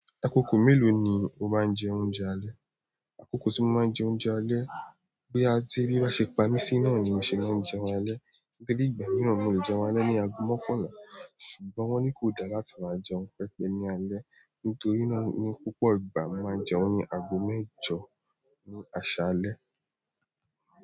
Akoko melo ni o maa n jẹ oúnjẹ alẹ́? Akoko tí mo máa ń jẹ oúnjẹ alẹ́, boya ti ebií bá ṣe pa mí sí náà ni mo ṣe máa jẹun alẹ́. Torí ìgbà mìíràn mo lè jẹun alẹ́ ní ago mọ́kànlá ṣùgbọ́n wọ́n ní kò dá láti máa jẹun pẹpẹ ní alẹ́ nítorí náà ni púpọ̀ ìgbà mo máa ń jẹun ago mẹ́jọ ní aṣalẹ́.